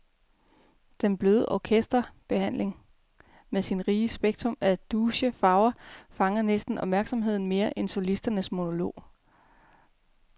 Den bløde orkesterbehandling med sit rige spektrum af douce farver fanger næsten opmærksomheden mere end solistens monolog.